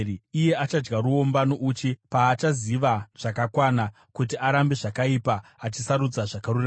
Iye achadya ruomba nouchi paachaziva zvakakwana kuti arambe zvakaipa achisarudza zvakarurama.